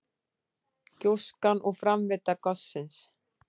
Gjóskan og framvinda gossins.